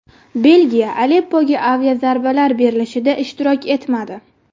Belgiya Aleppoga aviazarbalar berilishida ishtirok etmadi.